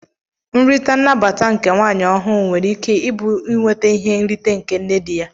Nrita nnabataa nke nwanyi ọhụ nwere ike ibu inweta ihe nrite nke nne di ya.